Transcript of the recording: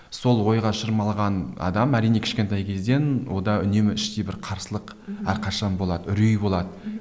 сол ойға шырмалған адам әрине кішкентай кезден онда үнемі іштей бір қарсылық әрқашан болады үрей болады мхм